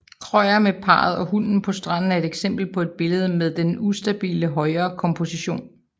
Krøyer med parret og hunden på stranden er et eksempel på et billede med den ustabile højrekomposition